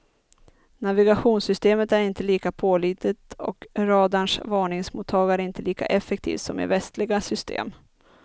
Navigationssystemet är inte lika pålitligt och radarns varningsmottagare inte lika effektivt som i västliga system.